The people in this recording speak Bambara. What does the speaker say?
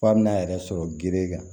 F'a bina a yɛrɛ sɔrɔ gere kan